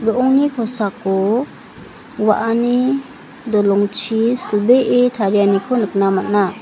ro·ongni kosako wa·ani dolongchi silbee tarianiko nikna man·a.